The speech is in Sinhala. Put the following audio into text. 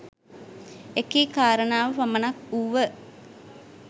එකී කාරණාව පමණක් වුව